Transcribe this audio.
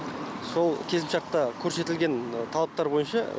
сол келісімшартта көрсетілген талаптар бойынша